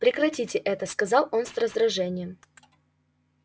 прекратите это сказал он с раздражением